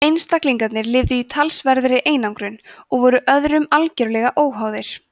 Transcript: einstaklingarnir lifðu í talsverðri einangrun og voru öðrum algerlega óháðir